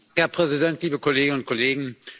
Herr Präsident, liebe Kolleginnen und Kollegen!